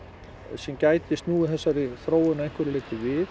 sem gæti snúið þessari þróun að einhverju leyti við